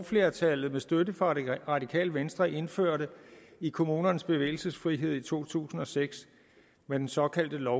flertallet med støtte fra det radikale venstre indførte i kommunernes bevægelsesfrihed i to tusind og seks med den såkaldte lov